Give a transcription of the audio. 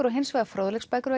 og hins vegar fróðleiksbækur